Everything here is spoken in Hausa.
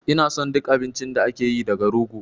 Ina son duk abincin da ake yi daga rogo